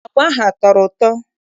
Agwa ahụ a tọrọ ụtọ?